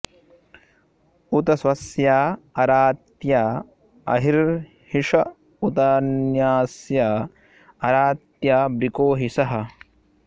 उ॒त स्वस्या॒ अरा॑त्या अ॒रिर्हि ष उ॒तान्यस्या॒ अरा॑त्या॒ वृको॒ हि षः